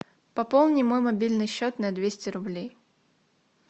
пополни мой мобильный счет на двести рублей